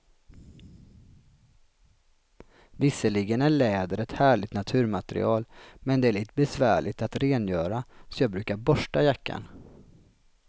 Visserligen är läder ett härligt naturmaterial, men det är lite besvärligt att rengöra, så jag brukar borsta jackan.